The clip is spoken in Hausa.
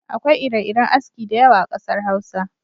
Akwai ire-iren aski da yawa a kasar Hausa.